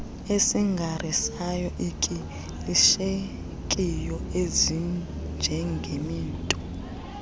ezingarisay ikilishekiyo ezinjengezinto